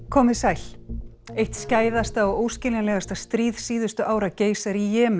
komið sæl eitt skæðasta og óskiljanlegasta stríð síðustu ára geisar í Jemen